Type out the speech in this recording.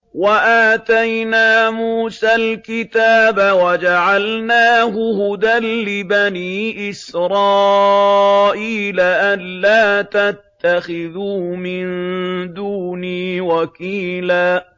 وَآتَيْنَا مُوسَى الْكِتَابَ وَجَعَلْنَاهُ هُدًى لِّبَنِي إِسْرَائِيلَ أَلَّا تَتَّخِذُوا مِن دُونِي وَكِيلًا